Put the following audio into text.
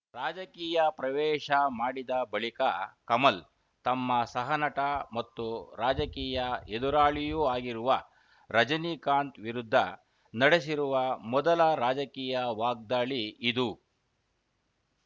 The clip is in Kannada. ರಾಜಕೀಯ ಪ್ರವೇಶ ಮಾಡಿದ ಬಳಿಕ ಕಮಲ್‌ ತಮ್ಮ ಸಹನಟ ಮತ್ತು ರಾಜಕೀಯ ಎದುರಾಳಿಯೂ ಆಗಿರುವ ರಜನೀಕಾಂತ್‌ ವಿರುದ್ಧ ನಡೆಸಿರುವ ಮೊದಲ ರಾಜಕೀಯ ವಾಗ್ದಾಳಿ ಇದು